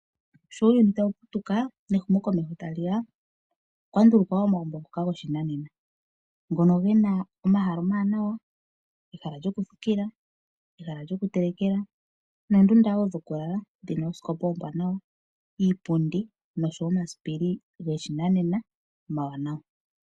Sho uuyuni tawu putuka nehumokomeho tali ya, okwa ndulukwa omagumbo ngoka gopashinanena. Ngono ge na omahala omawanawa, ehala lyokuthikila, ehala lyokutelekela noondunda wo dhokulala dhi na oosikopa oombwanawa, iipundi noshowo omasipili goshinanena omawanawa.